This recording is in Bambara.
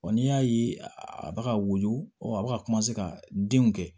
Wa n'i y'a ye a bɛ ka woyo a bɛ ka ka denw kɛ